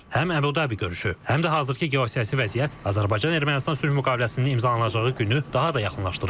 Həm Abu Dhabi görüşü, həm də hazırkı geosiyasi vəziyyət Azərbaycan-Ermənistan sülh müqaviləsinin imzalanacağı günü daha da yaxınlaşdırır.